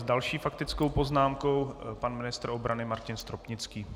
S další faktickou poznámkou pan ministr obrany Martin Stropnický.